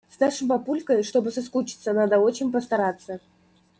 с нашим папулькой чтобы соскучиться надо очень постараться